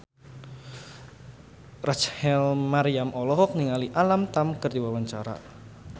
Rachel Maryam olohok ningali Alam Tam keur diwawancara